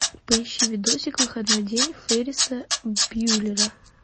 поищи видосик выходной день ферриса бьюллера